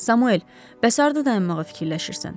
Samuel, bəs harda dayanmağı fikirləşirsən?